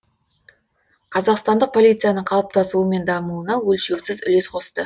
қазақстандық полицияның қалыптасуы мен дамуына өлшеусіз үлес қосты